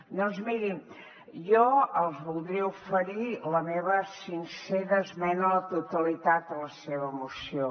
doncs mirin jo els voldria oferir la meva sincera esmena a la totalitat de la seva moció